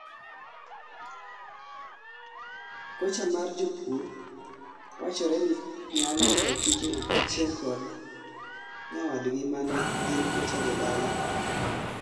Kocha mar jopur wachore ni nyalo kao tijno kachiel kod nyawadgi mane en kocha jodala